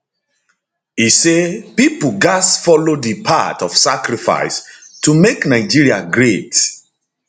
e say pipo gatz follow di path of sacrifice to make nigeria great